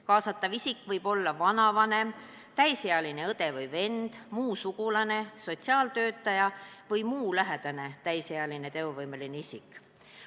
Kaasatav isik võib olla vanavanem, täisealine õde või vend, muu sugulane, sotsiaaltöötaja või muu lähedane täisealine teovõimeline isik.